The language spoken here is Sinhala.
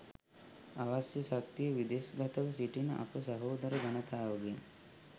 අවශ්‍ය ශක්තිය විදෙස් ගතව සිටින අප සහෝදර ජනතාවගෙන්